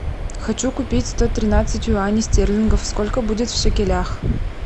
хочу купить сто тринадцать юаней стерлингов сколько будет в шекелях